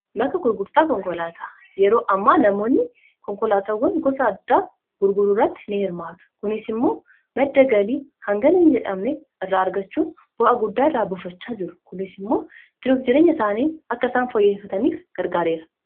Bakka gurgurtaa konkolaataa yeroo ammaa namoonni konkolaataawwan gosa addaa gurguruu irratti nihirmaatu. Kunis immoo madda galii hangana hinjedhamne irraa argachuun bu'aa guddaa irraa buufachaa jiru. Kunis immoo jiruuf jireenya isaanii akka isaan fooyyeffataniif gargaareera.